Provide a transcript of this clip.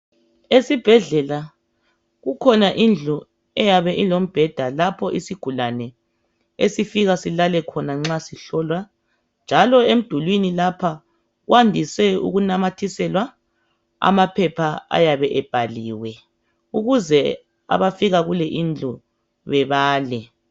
Esibhedlela kukhona indlu eyabe ilombeda lapho isigulane esifika silalekhona nxa sihlolwa njalo emdulwini lapha kwandise ukunamathiselwa amaphepha ayabe ebhaliwe ukuze abafika kule indlu bebale